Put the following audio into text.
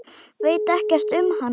Veit ekkert um hana.